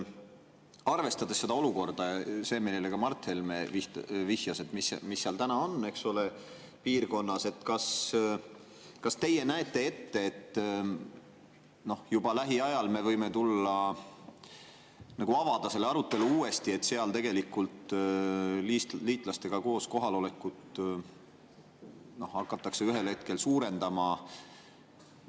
Arvestades seda olukorda, millele ka Mart Helme vihjas, mis seal piirkonnas täna on, kas teie näete ette, et juba lähiajal me võime avada uuesti selle arutelu, et seal tegelikult hakatakse liitlastega koos kohalolekut ühel hetkel suurendama?